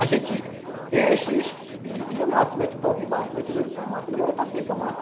A gente enche e e amassa, mete o pau aqui embaixo, mete no lince e amassa, demora até secar a massa.